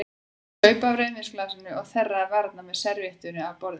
Hún saup af rauðvínsglasinu og þerraði varirnar með servíettu af borðinu.